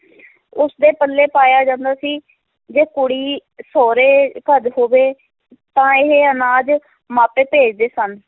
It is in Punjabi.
ਉਸਦੇ ਪੱਲੇ ਪਾਇਆ ਜਾਂਦਾ ਸੀ, ਜੇ ਕੁੜੀ ਸਹੁਰੇ ਘਰ ਹੋਵੇ ਤਾਂ ਇਹ ਅਨਾਜ ਮਾਪੇ ਭੇਜਦੇ ਸਨ।